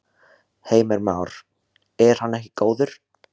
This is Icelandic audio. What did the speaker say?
Heimir Már: Er hann ekki góður?